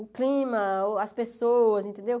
o clima, o as pessoas, entendeu?